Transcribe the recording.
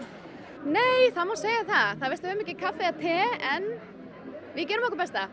nei það má segja það það er verst höfum ekki kaffi eða te en við gerum okkar besta